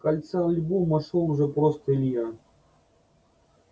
в конце альбома шёл уже просто илья